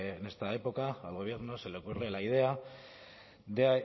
en esta época al gobierno se le ocurre la idea de